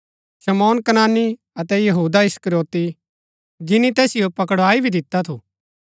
शमौन कनानी अतै यहूदा इस्करियोती जिनी तैसिओ पकड़ाई भी दिता थु